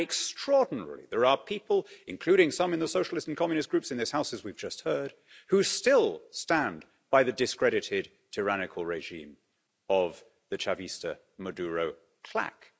Extraordinarily, there are people, including some in the Socialist and Communist groups in this House, as we've just heard, who still stand by the discredited tyrannical regime of the Chavista-Maduro claque.